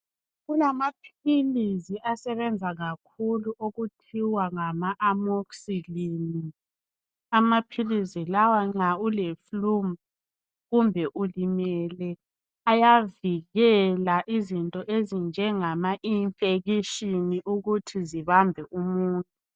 Kulamaphilizi asebenza kakhulu okuthiwa ngama amoxicilline, amaphilizi lawa nxa ule fulu kumbe ulimele ayavikela izinto ezinjengama infekishini ukuthi zibambe umuntu.